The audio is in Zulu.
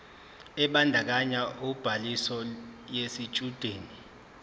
ebandakanya ubhaliso yesitshudeni